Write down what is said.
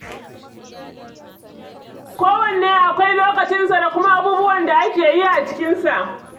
Kowanne akwai lokacinsa da kuma abubuwan da ake yi a cikinsa.